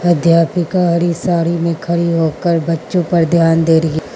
अध्यापिका हरी साड़ी में खड़ी होकर बच्चों पर ध्यान दे रही --